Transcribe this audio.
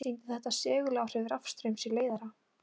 Sýndi þetta seguláhrif rafstraums í leiðara.